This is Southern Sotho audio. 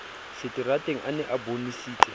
seterateng a ne a bonesitse